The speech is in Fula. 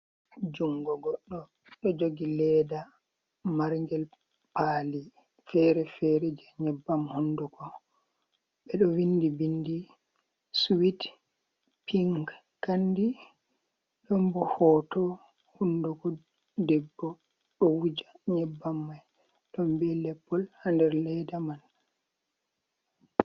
Jungo goɗɗo ɗo jogi ledda margel pali fere fere je nyebbam honduko, ɓe ɗo vindi bindi suwit pink Kandi, ɗon bo hoto hunduko debbo ɗo wuja nyebbam mai ɗombo leppol ha nder leda man.